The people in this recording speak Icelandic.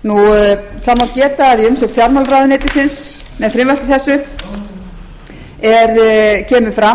í umsögn fjármálaráðuneytisins með frumvarpinu kemur fram